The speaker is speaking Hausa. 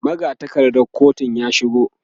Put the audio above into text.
magatakardar kotun ya shigo